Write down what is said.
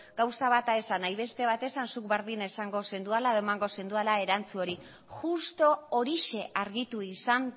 gauza bata esan nahi beste bat esan zuk berdin esango zenuela edo emango zenuela erantzun hori justu horixe argitu izan